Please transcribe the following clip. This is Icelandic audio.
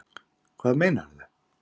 Hvað meinarðu?